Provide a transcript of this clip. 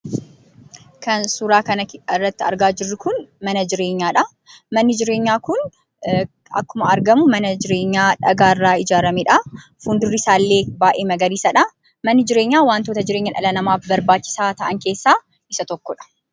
Kan suuraa kanarratti argaa jirru kun, Mana jireenyadhaa. Manni jireenya kun akkuma argamu Mana jireenyaa dhagaa irraa ijaaramedha. Fuuldurri isa illee baay'ee magariisadha. Manni jireenyaa wantoota jireenya dhala namaaf barbaachisa ta'aan keessaa isa tokkodha.